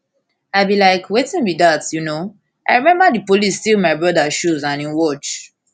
i bin like wetin be dat you know i remember di police steal my brother shoes and im watch